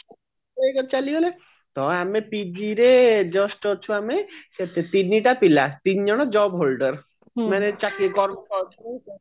ଏକ ରୁ ଚାଲିଗଲେ ତ ଆମେ TV ରେ just ଅଛୁ ଆମେ ସେ TV ଟା ଥିଲା ତିନିଜଣ job holder ମାନେ ଚାକିରି ଟା